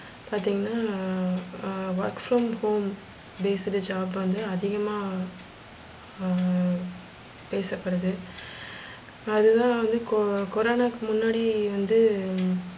பாத்திங்கனா work from home based job வந்து அதிகமா ஆஹ் பேசபடுது அது தான் வந்து கொ கொரனாவுக்கு முன்னாடியே வந்து,